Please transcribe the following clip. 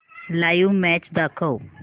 live match दाखव